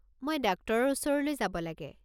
মই ডাক্টৰৰ ওচৰলৈ যাব লাগে।